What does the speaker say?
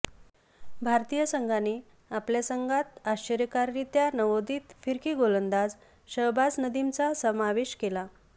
भारतीय संघाने आपल्या संघात आश्चर्यकाररीत्या नवोदीत फिरकी गोलंदाज शहबाज नदिमचा समावेश केला